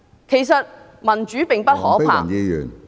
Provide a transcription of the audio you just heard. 其實民主並不可怕......